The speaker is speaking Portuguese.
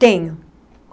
Tenho.